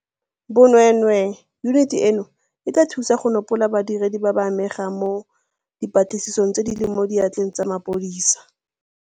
Bo nweenwee, yuniti eno e tla thusa go nopola badiredi ba ba amegang mo dipatlisisong tse di leng mo diatleng tsa mapodisi.